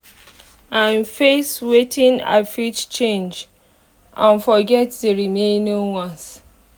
am face wetin i fit change and forget d remaining ones